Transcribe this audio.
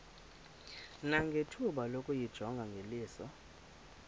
nangethuba lokuyijonga ngeliso